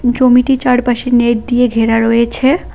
জমিটি চারপাশে নেট দিয়ে ঘেরা রয়েছে।